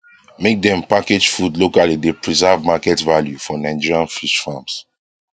make dem package food locally dey preserve market value for nigerian fish farms